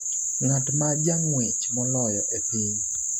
ng'at ma jang'wech moloyo e piny